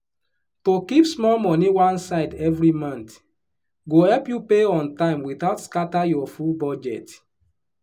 to keep small money one side every month go help you pay on time without scatter your full budget.